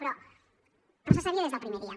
però se sabia des del primer dia